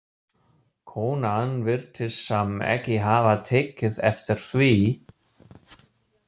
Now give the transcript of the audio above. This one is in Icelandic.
Konan virtist samt ekki hafa tekið eftir því.